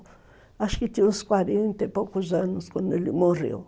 Acho que tinha uns quarenta e poucos anos quando ele morreu.